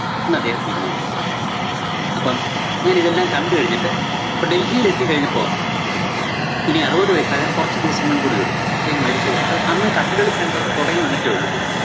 എന്നദ്ദേഹം തീരുമാനിക്കുന്നു. അപ്പം ഞാനിതെല്ലാം കണ്ട് കഴിഞ്ഞിട്ട് അപ്പം ഡല്‍ഹിയിലെത്തി കഴിഞ്ഞപ്പോ ഇനി അറുപത് വയസ്സാവാന്‍ കുറച്ച് ദിവസങ്ങള്‍ കൂടിയുള്ളൂ. അപ്പഴ്ക്കും മരിച്ചുപോകും അപ്പം അന്ന് കഥകളി center ഒക്കെ തൊടങ്ങി വന്നിട്ടേ ഉള്ളൂ. ഡല്‍ഹി